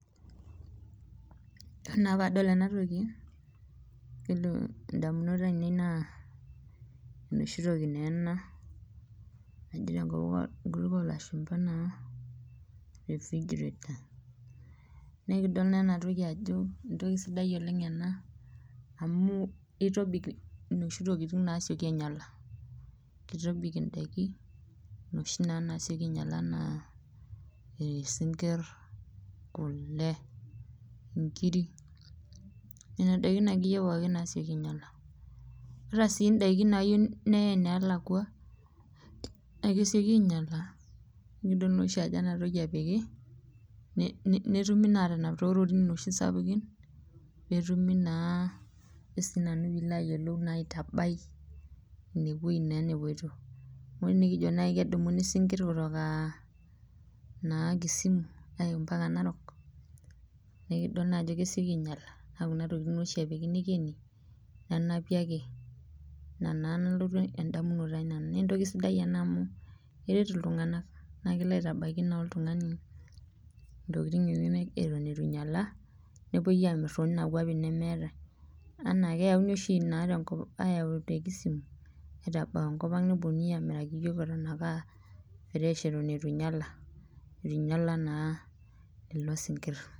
Ore naa pee adol enatoki ,yiolo ndamunot aienei naa enoshi toki naa ena naji tenkop alashumba naa fish grade naa ekidol naa enatoki ajo entoki sidai ena amu keitobik noshi tokiting naasikoi ainyala ,keitobik indaiki noshi naa nasioki ainyala enaa sinkir ,kule, nkiri, nena daiki akeyie pookin nasioki ainyala .ata sii ndaiki nayeiu nayae enalakwa naa kesioki ainyala nidol naa ajo ena toki oshi epiki netumoki naa aatanap toororin noshi sapukin netumoki naa aitabai ineweji naa nepoito ,amu tenikijo naaji kedumu isinkir kutoka Kisumu aya naaji mpaka narok naa kesieki ainyala naa Kuna tokiting naa oshi epiki neikeni nenapi ake ina naa nalotu endamunoto ai nanu ,naa entoki sidai amu eret iltunganak naa kelo naa aitabaiki oltungani intokiting enyenak eton eitu einyala nepoito amir too nena kwapi nemeetae, amu keyauni na oshi te Kisumu aitabau enkopang neponunui ake amiraki yiok eton ake eitu einyala naa lelo sinkir.